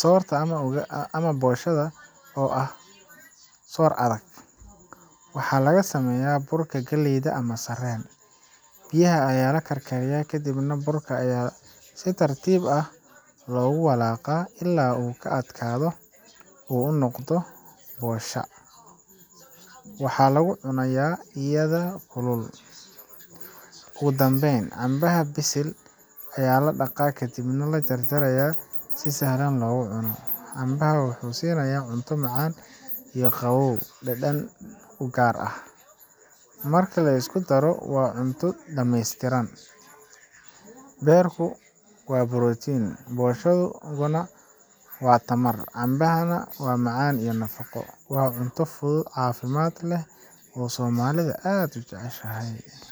soorta ama boshada ga, oo ah soor adag, waxaa laga sameeyaa burka galleyda ama sarreen. Biyaha ayaa la karkariyaa, kadibna burka ayaa si tartiib ah loogu walaaqaa ilaa uu ka adkaado oo uu noqdo bosha. Waxaa lagu cunaa iyadoo kulul. Ugu dambeyn, cambaha bisil ayaa la dhaqaa kadibna la jarjarayaa si sahlan loogu cuno. Cambaha wuxuu siinayaa cunto macaan iyo qabow dhadhan u gaar ah. Marka la isku daro, waa cunto dhameystiran: beerku waa borotiin, boshaduna waa tamar, cambahana waa macaan iyo nafaqo. Waa cunto fudud, caafimaad leh, oo soomaalida aad u jeceshahay.